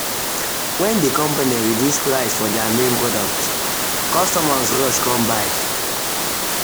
when the company reduce price for their main product customers rush come buy.